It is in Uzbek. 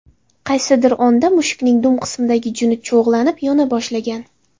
Qaysidir onda mushukning dum qismidagi juni cho‘g‘lanib, yona boshlagan.